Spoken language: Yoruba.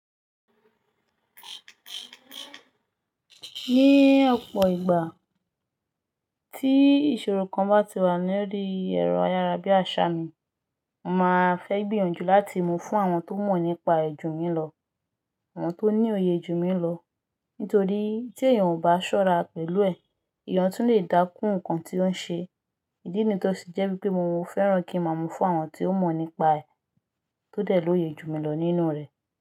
Ní ọ̀pọ̀ ìgbà tí ìṣòro kan bá ti wà ní orí ẹ̀rọ ayárabíàṣá mi, mo máa fẹ́ gbìyànjú láti mú fún àwọn tó mọ̀ nípa rẹ̀ jù mi lọ, àwọn tó ní òye èjù mi lọ. Nítorí tí èèyàn ò bá ṣọ́ra pẹ̀lú ẹ̀, èèyàn tún lè dákún nǹkan tí ó ń ṣe. Ìdí nì to sì jẹ́ wípé mo máa ń fẹ́ran kí mo mú fún àwọn tí ó mọ̀ nípa ẹ́ tó dẹ̀ lóye èjù mi lọ nínú rẹ̀.